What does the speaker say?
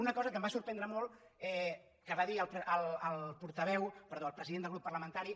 una cosa que em va sorprendre molt que va dir el president del grup parlamentari